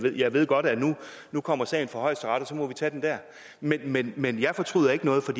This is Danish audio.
jeg ved godt at nu kommer sagen for højesteret og så må vi tage den der men men jeg fortryder ikke noget for